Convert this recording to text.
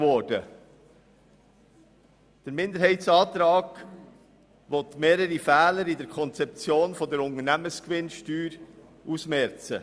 Er will mehrere Fehler in der Konzeption der Unternehmensgewinnsteuer ausmerzen.